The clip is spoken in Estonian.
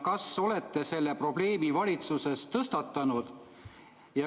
Kas olete selle probleemi valitsuses tõstatanud?